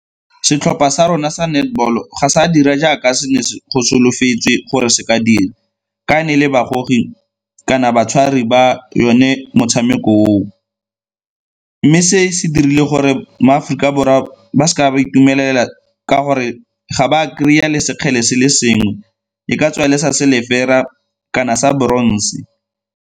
Setlhopha sa rona sa netball-o ga sa dira jaaka go solofetswe gore se ka dira ka ne e le kana batshwariwa ba yone motshameko oo. Mme se se dirile gore mo Aforika Borwa ba seka ba itumelela ka gore ga ba kry-a le sekgele se le sengwe, e ka tswa le sa silver-ra kana sa bronze.